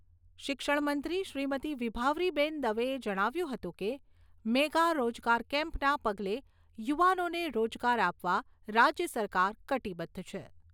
શિક્ષણમંત્રી શ્રીમતી વિભાવરીબેન દવે જણાવ્યું હતું કે, "મેગા રોજગાર કેમ્પ" ના પગલે યુવાનોને રોજગાર આપવા રાજ્ય સરકાર કટિબધ્ધ છે.